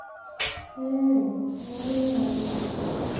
heee keng'ae naaret